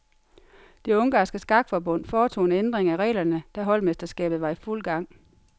Det ungarske skakforbund foretog en ændring af reglerne, da holdmesterskabet var i fuld gang.